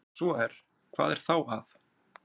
Ef svo er, hvað er þá að?